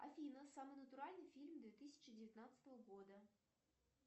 афина самый натуральный фильм две тысячи девятнадцатого года